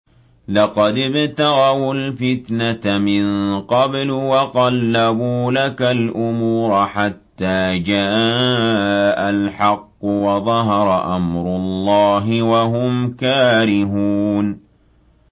لَقَدِ ابْتَغَوُا الْفِتْنَةَ مِن قَبْلُ وَقَلَّبُوا لَكَ الْأُمُورَ حَتَّىٰ جَاءَ الْحَقُّ وَظَهَرَ أَمْرُ اللَّهِ وَهُمْ كَارِهُونَ